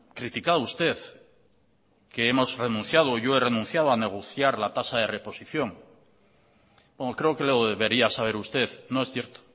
criticado usted que hemos renunciado yo he renunciado a negociar la tasa de reposición creo que lo debería saber usted no es cierto